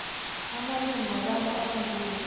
amalimi wabantu abanzima